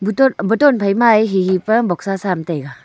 boton phai ma a hehe kya boxsa sa am taiga.